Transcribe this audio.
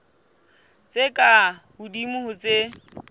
tse ka hodimo ho tse